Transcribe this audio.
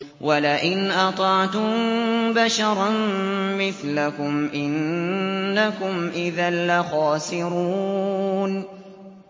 وَلَئِنْ أَطَعْتُم بَشَرًا مِّثْلَكُمْ إِنَّكُمْ إِذًا لَّخَاسِرُونَ